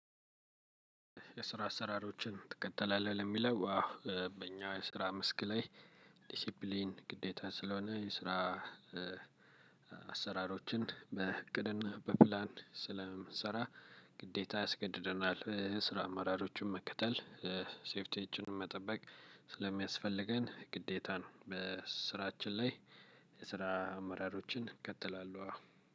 የስራ አሰራሮችን ትከተላለህ ለሚለው አዎ በእኛ የስራ መስክ ላይ። ዲሲፕሊን ግዴታ ስለሆነ የስራ አሰራሮችን በእቅድና በፕላን ስለምንሰራ። ግዴታ ያስገድደናል የስራ አማራጮችን መከተል ሴፍቲያችን መጠበቅ ስለሚያስፈልገን ግዴታ ነው። በስራችን ላይ የስራ አመራሮችን እከተላለሁ።